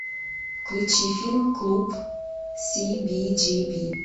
включи фильм клуб сибиджиби